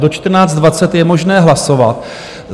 Do 14.20 je možné hlasovat.